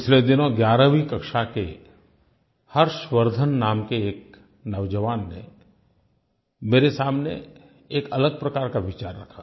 पिछले दिनों 11वीं कक्षा के हर्षवर्द्धन नाम के एक नौजवान ने मेरे सामने एक अलग प्रकार का विचार रखा